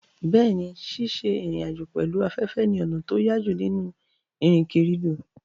Bẹ́ẹ̀ni, ṣíṣe ìrìn àjò pẹ̀lú afẹ́fẹ́ ni ọ̀nà tó yájú nínú ìrìnkèrindò.